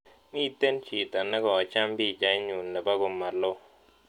Miten chito negocham pichainyun ne po komaloo